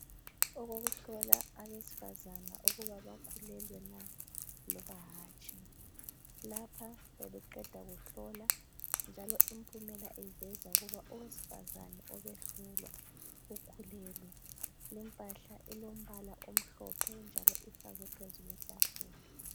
Okokuhlola abesifazana ukuba bakhulelwe na loba hatshi, lapha bebeqeda kuhlola njalo impumela iveza ukuba owesifazana obehlolwa ukhulelwe, lempahla ilombala omhlophe njalo ifakwe phezu kwetafula.